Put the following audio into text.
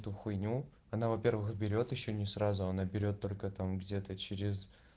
эту хуйню она во-первых берет ещё не сразу она наберёт только там где-то через